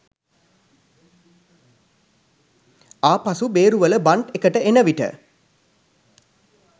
ආපසු බේරුවල බන්ට් එකට එන විට